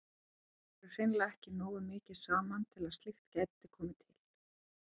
Þau voru hreinlega ekki nógu mikið saman til að slíkt gæti komið til.